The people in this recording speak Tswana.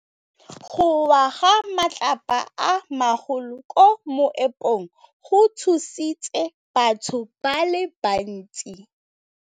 Go wa ga matlapa a magolo ko moepong go tshositse batho ba le bantsi.